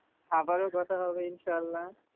আবারও কথা হবে ইনশাল্লাহ।